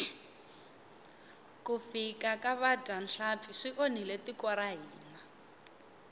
ku fika ka vadyahlampfi swi onhile tiko ra hina